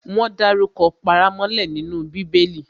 Wọ́n dárukọ paramọ́lẹ nínú Bíbẹlì